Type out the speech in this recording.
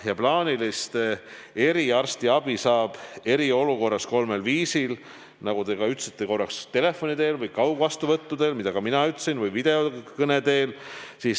" Ja plaanilist eriarstiabi saab eriolukorras kolmel viisil, nagu te isegi ütlesite, telefoni teel või kaugvastuvõttudel või videokõne teel.